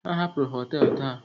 Ha hapụrụ họtelu taa.